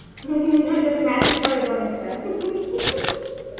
এটাতে matching করে তো অনেকটা